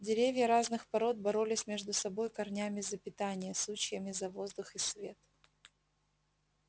деревья разных пород боролись между собой корнями за питание сучьями за воздух и свет